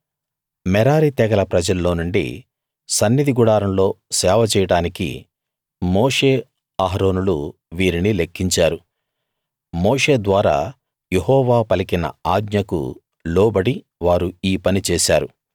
మెరారి తెగల ప్రజల్లోనుండి సన్నిధి గుడారంలో సేవ చేయడానికి మోషే అహరోనులు వీరిని లెక్కించారు మోషే ద్వారా యెహోవా పలికిన ఆజ్ఞకు లోబడి వారు ఈ పని చేశారు